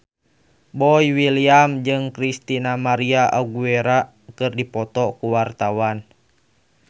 Boy William jeung Christina María Aguilera keur dipoto ku wartawan